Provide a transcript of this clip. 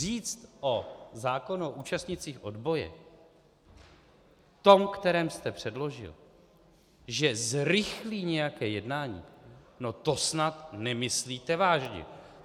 Říct o zákonu účastnících odboje tom, který jste předložil, že zrychlí nějaké jednání, no to snad nemyslíte vážně!